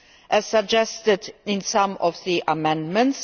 as suggested in some of the amendments.